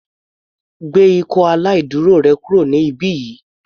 Gbé ikọ́ aláìdúró rẹ kúrò ní ibí yìí.